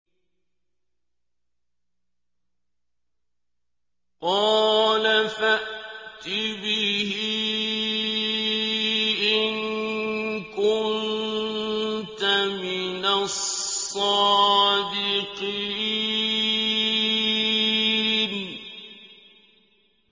قَالَ فَأْتِ بِهِ إِن كُنتَ مِنَ الصَّادِقِينَ